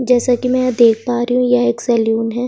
जैसा की मै देख पा रही हु यह एक सेलून है |